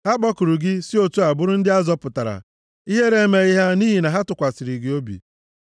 Ha kpọkuru gị si otu a bụrụ ndị a zọpụtara; ihere emeghị ha nʼihi na ha tụkwasịrị gị obi.